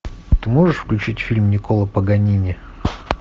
ты можешь включить фильм никколо паганини